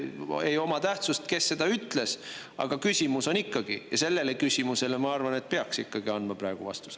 Ei oma tähtsust, kes seda ütles, aga küsimus on ikkagi olemas, ja sellele küsimusele, ma arvan, peaks andma vastuse.